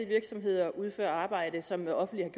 virksomheder udfører arbejde som det offentlige